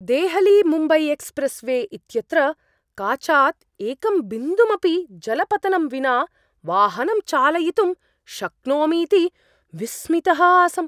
Delhi Mumbai express वे इत्यत्र काचात् एकं बिन्दुमपि जलपतनं विना वाहनं चालयितुं शक्नोमीति विस्मितः आसम्।